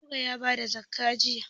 Nura ya ba da zakka jiya.